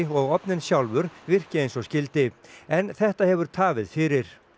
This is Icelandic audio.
og ofninn sjálfur virki eins og skyldi en þetta hefur tafið fyrir